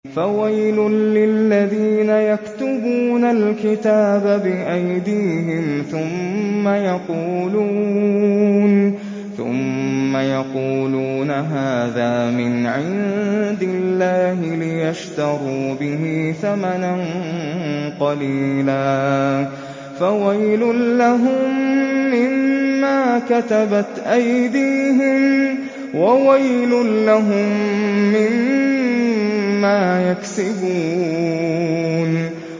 فَوَيْلٌ لِّلَّذِينَ يَكْتُبُونَ الْكِتَابَ بِأَيْدِيهِمْ ثُمَّ يَقُولُونَ هَٰذَا مِنْ عِندِ اللَّهِ لِيَشْتَرُوا بِهِ ثَمَنًا قَلِيلًا ۖ فَوَيْلٌ لَّهُم مِّمَّا كَتَبَتْ أَيْدِيهِمْ وَوَيْلٌ لَّهُم مِّمَّا يَكْسِبُونَ